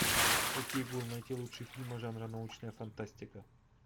окей гугл найти лучшие фильмы жанра научная фантастика